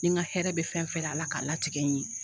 Ni n ka hɛrɛ bɛ fɛn o fɛn a la k'a latigɛ n ye